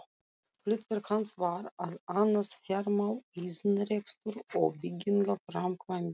Hlutverk hans var að annast fjármál, iðnrekstur og byggingaframkvæmdir.